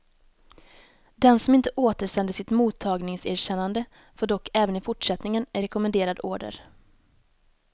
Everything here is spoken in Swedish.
Den som inte återsänder sitt mottagningserkännande får dock även i fortsättningen en rekommenderad order.